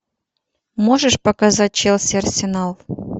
можешь показать челси арсенал